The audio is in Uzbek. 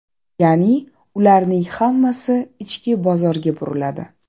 Ya’ni ularning hammasi ichki bozorga buriladi.